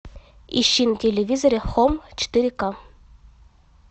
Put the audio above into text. ищи на телевизоре хоум четыре ка